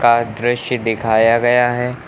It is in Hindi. का दृश्य दिखाया गया है।